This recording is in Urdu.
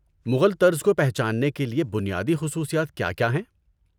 مغل طرز کو پہچاننے کے لیے بنیادی خصوصیات کیا کیا ہیں؟